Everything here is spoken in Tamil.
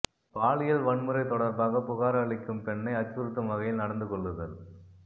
பாலியல் வன்முறை தொடர்பாக புகார் அளிக்கும் பெண்ணை அச்சுறுத்தும் வகையில் நடந்து கொள்ளுதல்